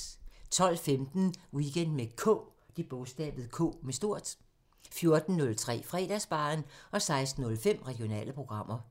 12:15: Weekend med K 14:03: Fredagsbaren 16:05: Regionale programmer